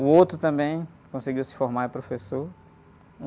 O outro também conseguiu se formar em professor.